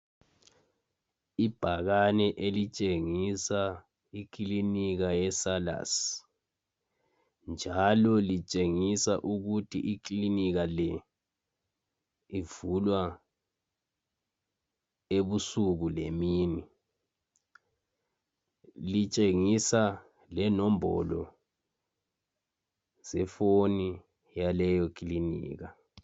Ibhakane elitshengisa iclinika yeSalus njalo litshengisa ukuthi iclinika le ivulwa ebusuku lemini. Litshengisa lenombolo ze phone yaleyo clinika.